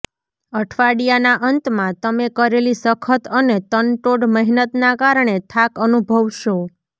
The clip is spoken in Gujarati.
અઠવાડિયાના અંતમાં તમે કરેલી સખત અને તનતોડ મહેનતના કારણે થાક અનુભવશો